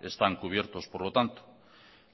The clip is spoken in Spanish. están cubiertos por lo tanto